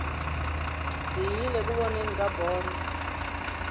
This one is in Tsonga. hi yile ku voneni ka bolo